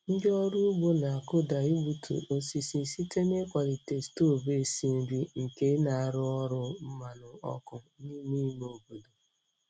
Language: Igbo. Ndị ọrụ ugbo na-akụda igbutu osisi site n'ịkwalite stovu esi nri nke na-arụ ọrụ mmanụ ọkụ n'ime ime obodo.